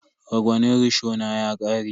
Ragwanin rishona ya ƙare.